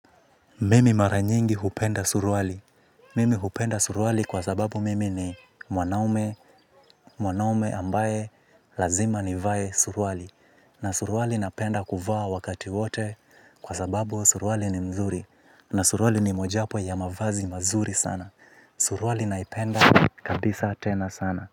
Mimi maranyingi hupenda suruali. Mimi hupenda suruali kwa sababu mimi ni mwanaume mwanaume ambaye lazima nivae suruali. Na suruali napenda kuvaa wakati wote kwa sababu suruali ni mzuri. Na suruali ni mojapo ya mavazi mazuri sana. Suruali naipenda kabisa tena sana.